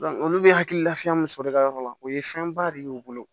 olu bɛ hakililafiya mun sɔrɔ i ka yɔrɔ la o ye fɛnba de y'u bolo